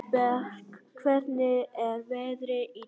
Arnberg, hvernig er veðrið í dag?